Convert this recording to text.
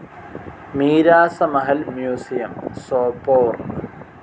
Miras Mahal museum, Sopore